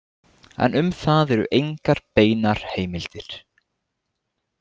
En um það eru engar beinar heimildir.